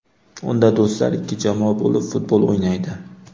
Unda do‘stlar ikki jamoa bo‘lib futbol o‘ynaydi.